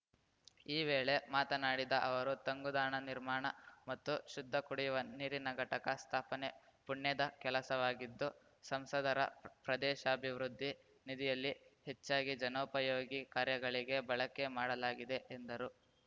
ಈ ವೇಳೆ ಮಾತನಾಡಿದ ಅವರು ತಂಗುದಾಣ ನಿರ್ಮಾಣ ಮತ್ತು ಶುದ್ಧ ಕುಡಿಯುವ ನೀರಿನ ಘಟಕ ಸ್ಥಾಪನೆ ಪುಣ್ಯದ ಕೆಲಸವಾಗಿದ್ದು ಸಂಸದರ ಪ್ರದೇಶಾಭಿವೃದ್ಧಿ ನಿಧಿಯಲ್ಲಿ ಹೆಚ್ಚಾಗಿ ಜನೋಪಯೋಗಿ ಕಾರ್ಯಗಳಿಗೆ ಬಳಕೆ ಮಾಡಲಾಗಿದೆ ಎಂದರು